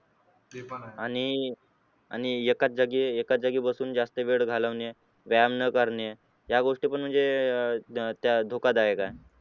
आणि आणि एका जागी एका जागी बसून जास्त वेळ घालवणे, व्यायाम करणे या गोष्टी पण म्हणजे धोकादायक आहेत.